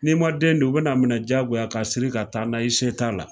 Ni ma den don u be n'a minɛ jagoya la ka siri ka taa n'a ye . I se ko t'a la.